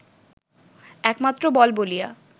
একমাত্র বল বলিয়া